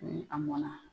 A mɔna